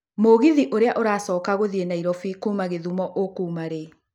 mũgithi ũria ũracoka gũthiĩ nairobi kuuma githumo ũkuma rĩ